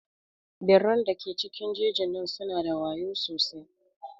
Birran da ke cikin jejin nan su na da wayau sosai.